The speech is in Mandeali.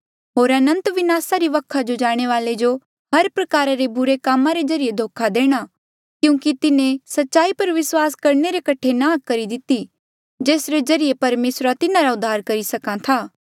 होर अनंत विनासा री वखा जो जाणे वाले जो हर प्रकारा रे बुरे कामा रे ज्रीए धोखा देणा क्यूंकि तिन्हें सच्चाई पर विस्वास करणे रे कठे नांह करी दिती जेसरे ज्रीए परमेसर तिन्हारा उद्धार करी सक्हा था